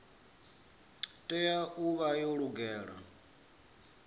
tea u vha yo lugela